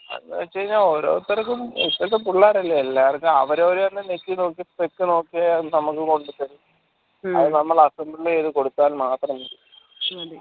എന്ത് വെച്ച് കഴിഞ്ഞാൽ ഓരോത്തർക്കും ഇപ്പൾത്തെ പുള്ളേരല്ലേ എല്ലാർക്കും അവരെഅവരെന്നെ നെക്കി നോക്കി നോക്കിയാ നമ്മക്ക് കൊണ്ടതെരും അത് നമ്മൾ assemble ചെയ്‌ത്‌ കൊടുത്താൽ മാത്രം മതി